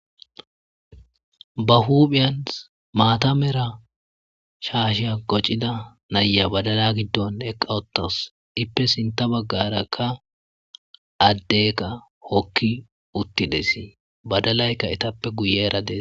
Ba huphphiyan mata mala shasha qacida na'iya badala gidon eqa utuws ippe sinta bagarakka adeyikka hoki utidess badalayikka etappe guyara des